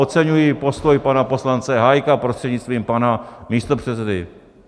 Oceňuji postoj pana poslance Hájka prostřednictvím pana místopředsedy.